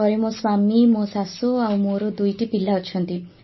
ଘରେ ମୋ ସ୍ୱାମୀ ମୋ ଶାଶୂ ଆଉ ମୋର ଦୁଇଟି ପିଲା ଅଛନ୍ତି